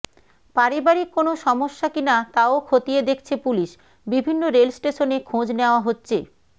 পারিবারিক কোন সমস্যা কিনা তাও খতিয়ে দেখছে পুলিশ বিভিন্ন রেল স্টেশনে খোঁজ নেওয়া হচ্ছে